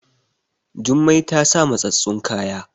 Jummai ta sa mattsattun kaya